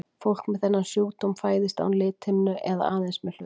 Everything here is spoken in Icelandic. Fólk með þennan sjúkdóm fæðist án lithimnu eða aðeins með hluta hennar.